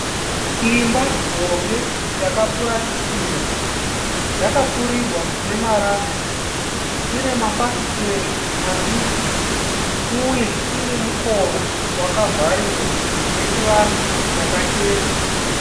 Imba hombe yakapurasitiwa. Yakapfurirwa nemarata. Ine mafafitera madiki. Uye ine mukova wakavhariwa nechivanze chakachena.